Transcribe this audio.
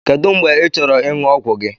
Kedu mgbe ịchọrọ ịṅụ ọgwụ gị?